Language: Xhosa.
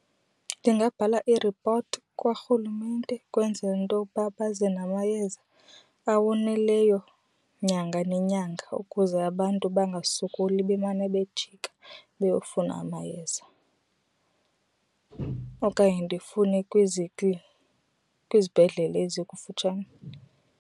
Ndingabhala iripoti kwarhulumente kwenzela intoba baze namayeza awoneleyo nyanga nenyanga ukuze abantu bangasokoli bemane bejika beyofuna amayeza. Okanye ndifune kwizibhedlela ezikufutshane.